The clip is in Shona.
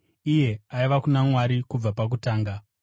Iye aiva kuna Mwari kubva pakutanga.